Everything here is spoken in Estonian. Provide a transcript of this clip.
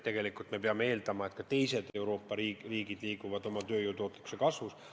Tegelikult me peame eeldama, et ka teised Euroopa riigid liiguvad oma tööjõu tootlikkuse kasvus edasi.